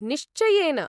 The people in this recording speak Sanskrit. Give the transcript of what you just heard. निश्चयेन।